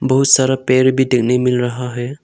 बहुत सारा पेर भी देखने मिल रहा है।